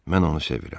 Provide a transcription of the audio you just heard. Mən onu sevirəm.